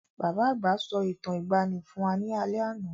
Bàbá àgbà sọ Ìtàn ìgbaànì fún wá ní alé àná.